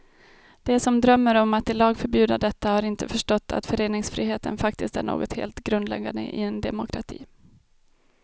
De som drömmer om att i lag förbjuda detta har inte förstått att föreningsfriheten faktiskt är något helt grundläggande i en demokrati.